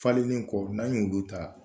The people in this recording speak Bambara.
Falenlen kɔ n'an' y o don tan